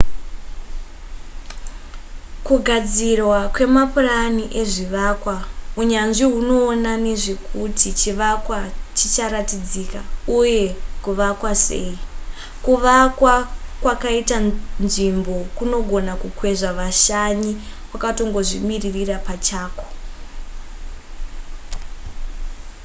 kugadzirwa kwemapurani ezvivakwa unyanzvi hunoona nezvekuti chivakwa chicharatidzika uye kuvakwa sei kuvakwa kwakaita nzvimbo kunogona kukwezva vashanyi kwakatongozvimirira pachakwo